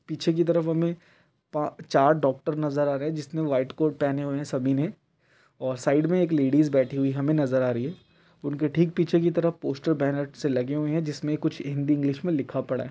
पीछे की तरफ हमें पा चार डॉक्टर नजर आ रहे हैं जिसने व्हाइट कोट पहने हुए हैं सभी ने और साइड में एक लेडिस बैठी हुई हमें नजर आ रही है। उनके ठीक पीछे की तरफ पोस्टर्स बैनर से लगे हुए हैं जिसमें कुछ हिन्दी इंग्लिश में लिखा पड़ा है।